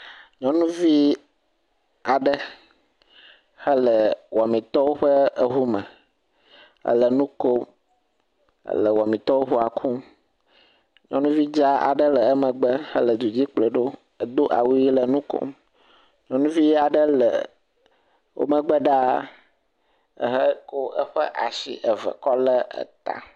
Nyɔnuvi aɖe hele wɔmitɔwo ƒe ŋu me, ele nu kom ele wɔmitɔwo ƒe ŋua kum, Nyɔnuvi dzaa aɖe le emegbe le du dzi kplɔe ɖo, edo awu ʋi le nu kom, nyɔnuvi aɖe le wo megbe ɖaa eheko eƒe asi eve ko lé eta.